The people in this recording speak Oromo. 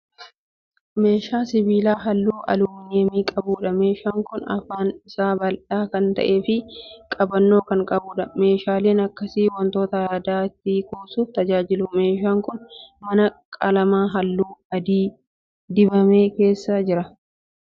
Meeshaa sibiilaa halluu aluminiyeemii qabuudha. Meeshaan kun afaan isaa bal'aa kan ta'e fi qabannoo kan qabuudha. Meeshaaleen akkasii wantoota adda addaa itti kuusuuf tajaajilu. Meeshaan kun mana qalama halluu adii dibamee keessa jira.